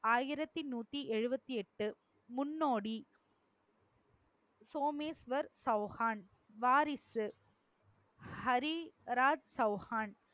ஆயிரத்தி நூத்தி எழுபத்தி எட்டு முன்னோடி சோமேஸ்வர் சௌகான். வாரிசு. ஹரி ராஜ் சௌகான்.